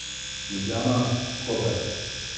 Ljubljana, Koper.